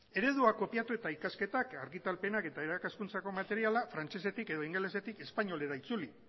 eredua kopiatu eta ikasketak argitalpenak eta irakaskuntzako materiala frantsesetik edo ingelesetik espainolera itzuli